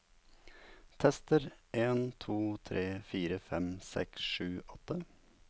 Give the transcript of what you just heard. Tester en to tre fire fem seks sju åtte